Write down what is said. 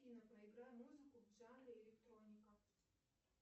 афина проиграй музыку в жанре электроника